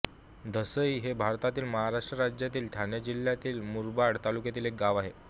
धसई हे भारतातील महाराष्ट्र राज्यातील ठाणे जिल्ह्यातील मुरबाड तालुक्यातील एक गाव आहे